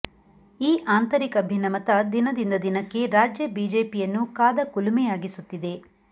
ಈ ಆಂತರಿಕ ಭಿನ್ನಮತ ದಿನದಿಂದ ದಿನಕ್ಕೆ ರಾಜ್ಯ ಬಿಜೆಪಿಯನ್ನು ಕಾದ ಕುಲುಮೆಯಾಗಿಸುತ್ತಿದೆ